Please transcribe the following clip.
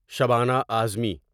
Shabana Uzma